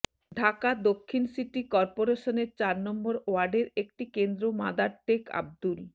ঢাকা দক্ষিণ সিটি করপোরেশনের চার নম্বর ওয়ার্ডের একটি কেন্দ্র মাদারটেক আব্দুল